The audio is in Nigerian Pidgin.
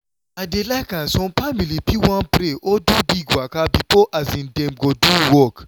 i dey like am some family fit wan pray or do big waka before um dem go do work.